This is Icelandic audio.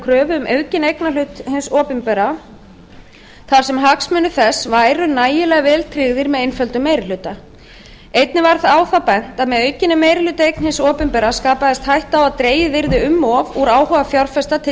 kröfu um aukinn eignarhlut hins opinbera þar sem hagsmunir þess væru nægilega vel tryggðir með einföldum meiri hluta einnig var á það bent að með aukinni meirihlutaeign hins opinbera skapaðist hætta á að dregið yrði um of úr áhuga fjárfesta til